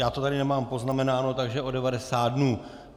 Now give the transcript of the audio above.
Já to tady nemám poznamenáno, takže o 90 dnů.